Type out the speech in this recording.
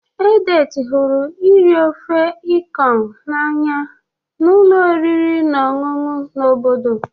Edet hụrụ iri ofe Ikong n'anya na ụlọ oriri na ọṅụṅụ na obodo.